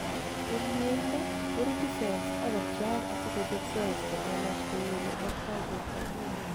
en mieindo, korutu cells akobcheak asikochob cells chelelach kou ole mogtoi bortangung